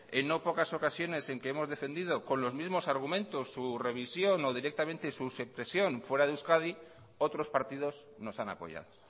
en no pocas ocasiones en que hemos defendido con los mismos argumentos su revisión o directamente su supresión fuera de euskadi otros partidos nos han apoyado